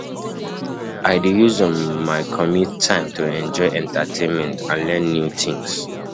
I dey use my um commute time to um enjoy entertainment and learn um new things.